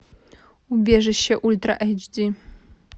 убежище ультра айч ди